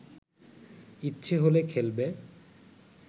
ইচ্ছে হলে খেলবে